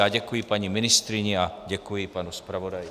Já děkuji paní ministryni a děkuji panu zpravodaji.